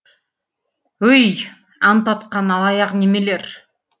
өй ант атқан алаяқ немелер